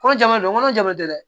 Kɔnɔ jama don kɔnɔ jamu tɛ dɛ